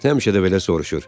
Həmişə də belə soruşur.